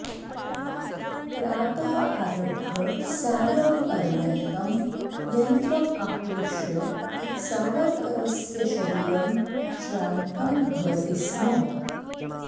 प्रातः आरभ्य सायं पर्यन्तं यन्त्रम् आकृष्य सावरकरस्य शरीरं श्रान्तं भवति स्म